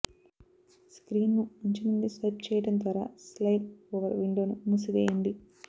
స్క్రీన్ను అంచు నుండి స్వైప్ చేయడం ద్వారా స్లయిడ్ ఓవర్ విండోను మూసివేయండి